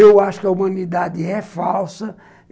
Eu acho que a humanidade é falsa.